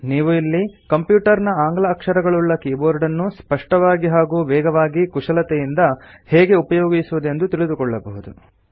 ನೀವು ಇಲ್ಲಿ ಕಂಪ್ಯುಟರ್ ನ ಆಂಗ್ಲ ಅಕ್ಷರಗಳುಳ್ಳ ಕೀಬೋರ್ಡನ್ನು ಸ್ಪಷ್ಟವಾಗಿ ಹಾಗೂ ವೇಗವಾಗಿ ಕುಶಲತೆಯಿಂದ ಹೇಗೆ ಉಪಯೋಗಿಸುವುದೆಂದು ತಿಳಿದುಕೊಳ್ಳಬಹುದು